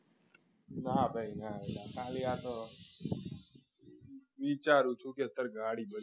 ના ભાઈ ના ખાલી આ તો વિચારું છું કે અત્યારે ગાડી જોઈએ